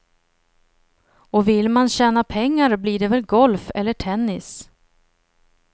Och vill man tjäna pengar blir det väl golf eller tennis.